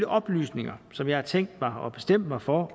oplysninger som jeg har tænkt mig og bestemt mig for